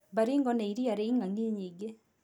Baringo nĩ iria rĩ ing'ang'i nyingĩ.